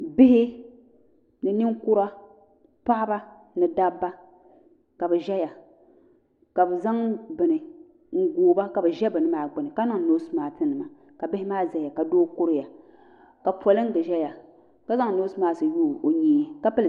Bihi ni ninkura paɣaba ni dabba ka bɛ ʒɛya ka bɛ zaŋ bini n googi ba ka bɛ ʒɛ bini maa gbini ka niŋ noosi maasi nima ka bihi maa zaya ka doo kuriya ka polinga ʒɛya ka zaŋ noosi maasi niŋ o nyee ka pili.